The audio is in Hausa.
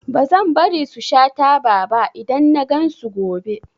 Bazan bari su sha taba ba idan nagan su gobe